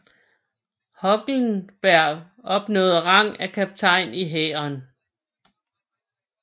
Hohlenberg opnåede rang af kaptajn i Hæren